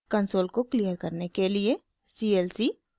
console को clear करने के लिए clc